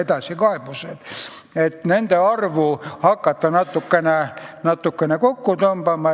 Nüüd tahetakse nende arvu hakata natukene kokku tõmbama.